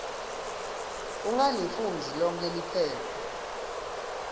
ungalifundzi lonkhe liphepha